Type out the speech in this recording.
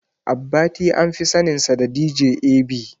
Abbati anfi saninsa da "DJ A.B".